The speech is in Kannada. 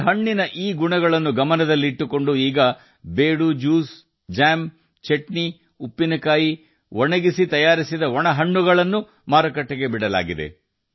ಈ ಹಣ್ಣಿನಲ್ಲಿರುವ ಈ ಗುಣಗಳನ್ನು ಗಮನದಲ್ಲಿಟ್ಟುಕೊಂಡು ಈಗ ಬೀಡು ಜ್ಯೂಸ್ ಜಾಮ್ ಚಟ್ನಿ ಉಪ್ಪಿನಕಾಯಿ ಒಣಗಿಸಿ ತಯಾರಿಸಿದ ಒಣ ಹಣ್ಣುಗಳನ್ನು ಮಾರುಕಟ್ಟೆಗೆ ಬಿಡುಗಡೆ ಮಾಡಲಾಗಿದೆ